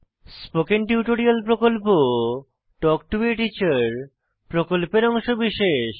spoken tutorial প্রকল্প talk to a teacher প্রকল্পের অংশবিশেষ